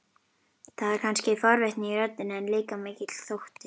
Það er kannski forvitni í röddinni, en líka mikill þótti.